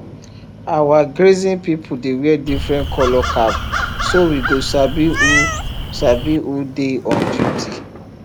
our grazing people dey wear different colour cap so we go sabi who sabi who dey on duty